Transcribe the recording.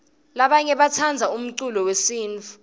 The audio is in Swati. labanye batsandza umcululo wesintfu